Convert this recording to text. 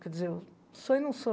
Quer dizer, sou e não sou.